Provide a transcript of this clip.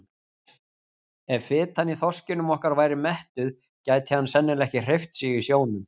Ef fitan í þorskinum okkar væri mettuð gæti hann sennilega ekki hreyft sig í sjónum!